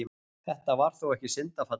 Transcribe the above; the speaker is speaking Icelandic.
Þetta var þó ekki syndafallið.